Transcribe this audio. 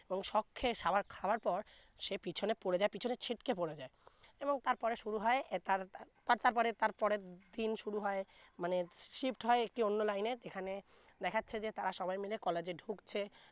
এবং shock খেয়ে সাবা খাবার পর সে পিছনে পরে যায় পিছনে ছিটকে পরে যায় এবং তার পরে শুরু হয় তার তারপরে তার পরের দিন শুরু হয় মানে Shift হয় একটি অন্য লাইনে যেখানে দেখাছে যে তারা সবাই মিলে college এ ঢুকছে